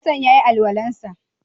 Hassan ya yi alwalan sa?